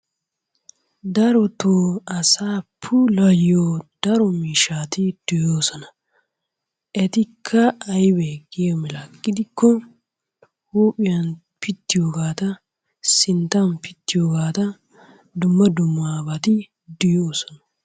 Daroto asaa puulayiyo daro miishati de'oosona. etikka aybee giyo mala gidikko huuphiyan pitiyobata sinttan pittiyobata dumma dummabati de'oosona.